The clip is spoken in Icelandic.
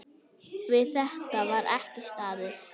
Við þetta var ekki staðið.